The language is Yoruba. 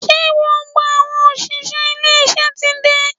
Ṣé gbogbo àwọn òṣìṣẹ́ ilé iṣẹ́ ti dé?